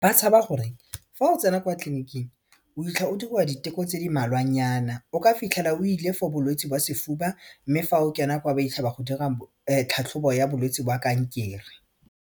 Ba tshaba gore fa o tsena kwa tleliniking o itlha o dirwa diteko tse di mmalwanyana o ka fitlhela o ile for bolwetsi ba sefuba mme fa o kena kwa ba itlha ba go dira tlhatlhobo ya bolwetsi ba kankere.